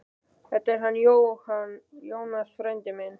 Þetta er hann Jónas, frændi minn.